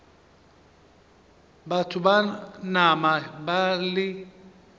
batho ba nama ba le